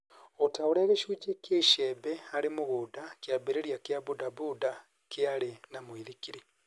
O ta ũrĩa gicũnji kia icembe harĩ mũgũnda, kĩambĩrĩria kĩa bodaboda kiarĩ na mũithikiri.